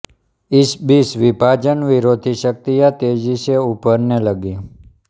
इसी बीच विभाजन विरोधी शक्तियाँ तेजी से उभरने लगीं